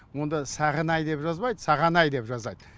онда сағынай деп жазбайды сағанай деп жазады